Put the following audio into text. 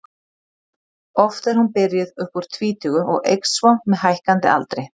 Oft er hún byrjuð upp úr tvítugu og eykst svo með hækkandi aldri.